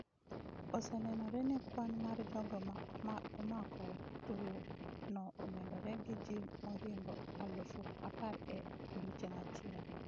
Osenenore ni kwan mar jogo ma omako tuwo no omedore gi ji mohingo aluf apar e odiechieng' achiel.